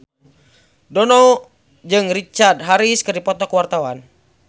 Dono jeung Richard Harris keur dipoto ku wartawan